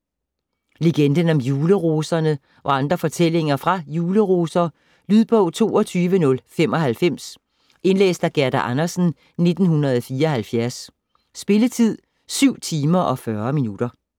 Legenden om juleroserne og andre fortællinger fra Juleroser Lydbog 22095 Indlæst af Gerda Andersen, 1974. Spilletid: 7 timer, 40 minutter.